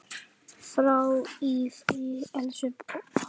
Far í friði, elsku pabbi!